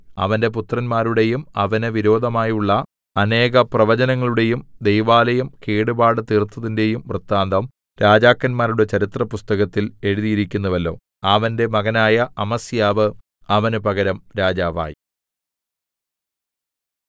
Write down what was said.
അവന്റെ പുത്രന്മാരുടെയും അവന് വിരോധമായുള്ള അനേക പ്രവചനങ്ങളുടെയും ദൈവാലയം കേടുപാട് തീർത്തതിന്റെയും വൃത്താന്തം രാജാക്കന്മാരുടെ ചരിത്രപുസ്തകത്തിൽ എഴുതിയിരിക്കുന്നുവല്ലോ അവന്റെ മകനായ അമസ്യാവ് അവന് പകരം രാജാവായി